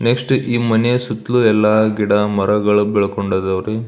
next ಈ ಮನೆಯ ಸುತ್ತಲೂ ಎಲ್ಲ ಗಿಡ ಮರಗಳು ಬೆಳಕೊಂಡವ ಅಡರಿ --